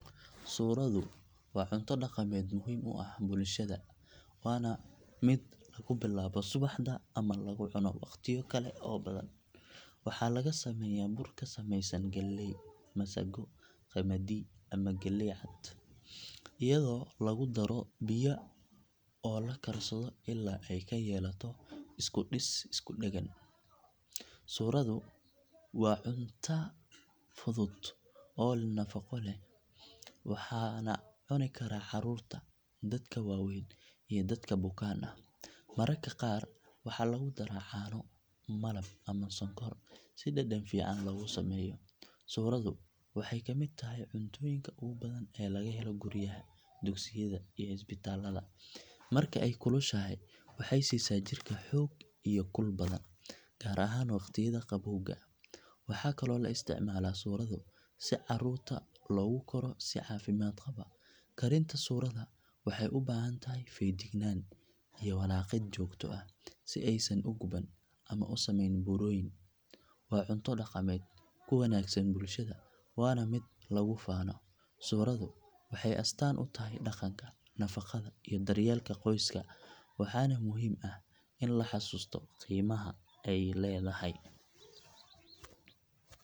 Suuradu waa cunto dhaqameed muhiim u ah bulshada waana mid lagu bilaabo subaxda ama lagu cuno wakhtiyo kale oo badan. Waxaa laga sameeyaa bur ka samaysan galley, masago, qamadi ama galley cad iyadoo lagu daro biyo oo la karsado ilaa ay ka yeelato isku dhis isku dheggan. Suuradu waa cunto fudud oo nafaqo leh waxaana cuni kara carruurta, dadka waaweyn iyo dadka bukaan ah. Mararka qaar waxaa lagu daraa caano, malab ama sonkor si dhadhan fiican loogu sameeyo. Suuradu waxay ka mid tahay cuntooyinka ugu badan ee laga helo guryaha, dugsiyada iyo isbitaallada. Marka ay kulushahay waxay siisaa jirka xoog iyo kul badan gaar ahaan waqtiyada qabowga. Waxaa kaloo la isticmaalaa suurada si carruurta loogu koro si caafimaad qaba. Karinta suurada waxay u baahan tahay feejignaan iyo walaaqid joogto ah si aysan u guban ama u samayn burooyin. Waa cunto dhaqameed ku wanaagsan bulshada waana mid lagu faano. Suuradu waxay astaan u tahay dhaqanka, nafaqada iyo daryeelka qoyska waxaana muhiim ah in la xasuusto qiimaha ay leedahay.